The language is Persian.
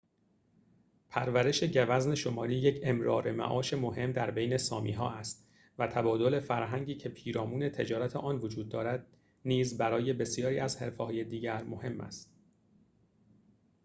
پرورش گوزن شمالی یک امرار معاش مهم در بین سامی‌ها است و تبادل فرهنگی که پیرامون تجارت آن وجود دارد نیز برای بسیاری از حرفه‌های دیگر مهم است